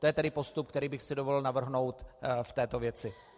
To je tedy postup, který bych si dovolil navrhnout v této věci.